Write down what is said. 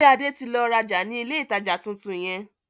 Ṣé Adé tí lọ rajá ni ilé ìtajà tuntun yẹn?